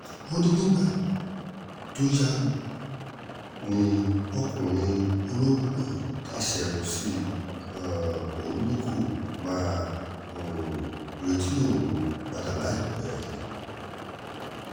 ó ní nígbà tó yá ni ọkùnrin ológun náà taṣà sí um i ò ní kó máa um retí òun padà láìpẹ́